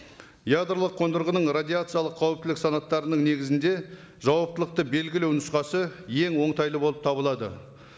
ядролық қондырғының радиациялық қауіптілік санаттарының негізінде жауаптылықты белгілі нұсқасы ең оңтайлы болып табылады